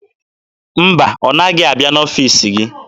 Mba, ọ naghị abịa n'ọfiisi gị.